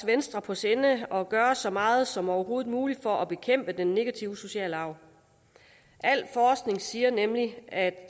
venstre på sinde at gøre så meget som overhovedet muligt for at bekæmpe den negative sociale arv al forskning siger nemlig at